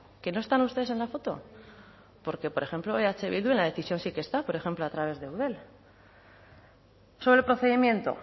que no están ustedes en la foto porque por ejemplo eh bildu en la decisión sí que está por ejemplo a través de eudel sobre el procedimiento